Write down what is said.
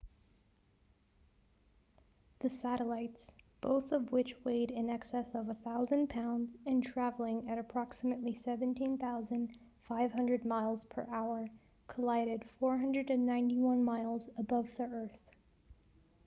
the satellites both of which weighed in excess of 1,000 pounds and traveling at approximately 17,500 miles per hour collided 491 miles above the earth